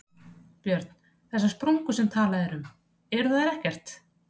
Björn: Þessar sprungur sem talað er um, eru þær ekkert?